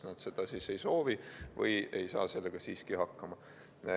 Nad kas ei soovi seda või ei saa sellega siiski hakkama.